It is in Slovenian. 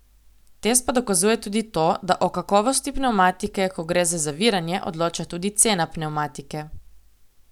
Test pa dokazuje tudi to, da o kakovosti pnevmatike, ko gre za zaviranje, odloča tudi cena pnevmatike.